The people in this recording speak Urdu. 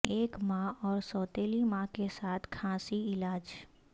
ایک ماں اور سوتیلی ماں کے ساتھ کھانسی علاج